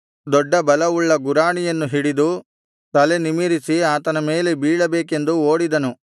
ದೊಡ್ಡ ಬಲವುಳ್ಳ ಗುರಾಣಿಯನ್ನು ಹಿಡಿದು ತಲೆ ನಿಮಿರಿಸಿ ಆತನ ಮೇಲೆ ಬೀಳಬೇಕೆಂದು ಓಡಿದನು